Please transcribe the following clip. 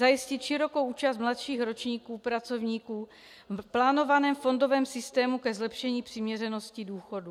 Zajistit širokou účast mladších ročníků pracovníků v plánovaném fondovém systému ke zlepšení přiměřenosti důchodů.